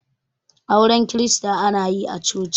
auren kirista ana yi a choci